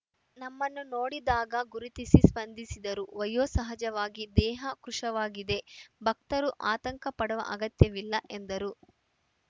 ನಮ್ಮನ್ನು ನೋಡಿದಾಗ ಗುರುತಿಸಿ ಸ್ಪಂದಿಸಿದರು ವಯೋಸಹಜವಾಗಿ ದೇಹ ಕೃಷವಾಗಿದೆ ಭಕ್ತರು ಆತಂಕಪಡುವ ಅಗತ್ಯವಿಲ್ಲ ಎಂದರು